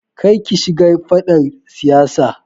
Kar ki shiga faɗar siyasa.